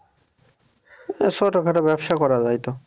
ছোট খাটো ব্যবসা করা যায় তো।